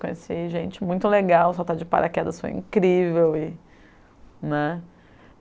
Conheci gente muito legal, soltar de paraquedas foi incrível. E, né